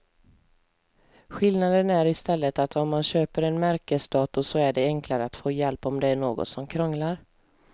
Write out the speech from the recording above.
Skillnaden är i stället att om man köper en märkesdator så är det enklare att få hjälp om det är något som krånglar.